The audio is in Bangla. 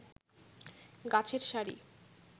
গাছের সারি